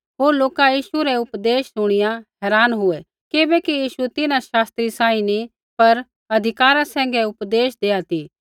होर लोका यीशु रै उपदेश शुणिया हैरान हुऐ किबैकि यीशु तिन्हां शास्त्री सांही नी पर अधिकारा सैंघै उपदेश देआ ती